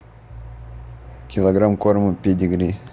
килограмм корма педигри